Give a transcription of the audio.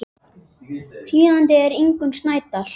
Þýðandi er Ingunn Snædal.